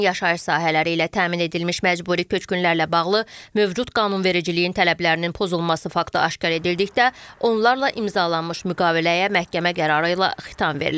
Yeni yaşayış sahələri ilə təmin edilmiş məcburi köçkünlərlə bağlı mövcud qanunvericiliyin tələblərinin pozulması faktı aşkar edildikdə, onlarla imzalanmış müqaviləyə məhkəmə qərarı ilə xitam verilir.